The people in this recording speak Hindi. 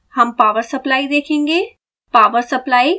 सबसे पहले हम पॉवर सप्लाई देखेंगे